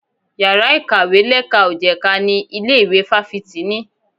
Yàrá ìkàwé lẹ́ka ò jẹ̀ka ni ilé ìwé fáfitì ní.